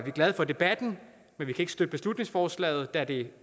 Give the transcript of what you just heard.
vi glade for debatten men vi kan ikke støtte beslutningsforslaget da det